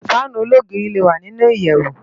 Fànú ólógiri lé wá ninú iyèwú